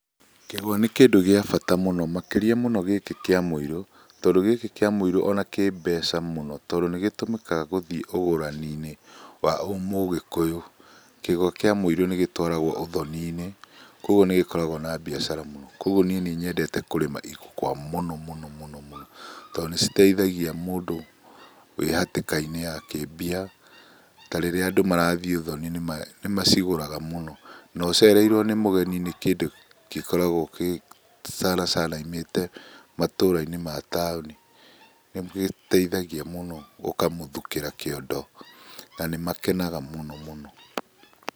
Kĩgwa nĩ kĩndũ gĩa bata mũno makĩria mũno gĩkĩ kĩa mũirũ, tondũ gĩkĩ kĩa mũirũ ona kĩ mbeca mũno tondũ nĩ gĩtũmĩkaga gũthiĩ ũgũrani-inĩ wa mũgĩkũyũ. Kĩgwa kĩa mũirũ nĩ gĩtwaragwo ũthoni-inĩ, kwoguo nĩ gĩkoragwo na biacara mũno kwoguo niĩ nĩ nyendete kũrĩma igwa mũno mũno mũno mũno tondũ nĩ citeithagia mũndũ wĩ hatĩkainĩ ya kĩmbia ta rĩrĩa andũ marathiĩ ũthoni nĩ macigũraga mũno. Na ũcereirwo nĩ mũgeni nĩ kĩndũ gĩkoragwo kĩ sala sala oimĩte matũra-inĩ ma taũni. Nĩ gĩteithagia mũno ũkamũthukĩra kĩondo, na nĩ makenaga mũno mũno.